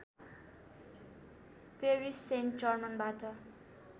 Paris Saint जर्मनबाट